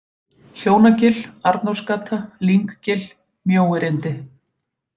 Hjónagil, Arnórsgata, Lynggil, Mjóirindi